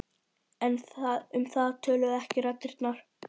En um það töluðu ekki raddirnar.